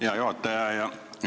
Hea juhataja!